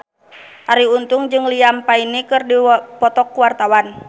Arie Untung jeung Liam Payne keur dipoto ku wartawan